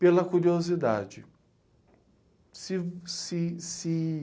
Pela curiosidade.